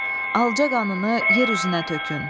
Alca qanını yer üzünə tökün.